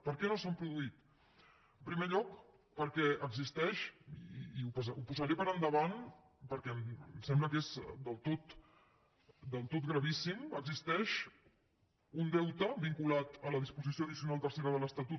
per què no s’han produït en primer lloc perquè existeix i ho posaré per endavant perquè em sembla que és del tot gravíssim un deute vinculat a la disposició addicional tercera de l’estatut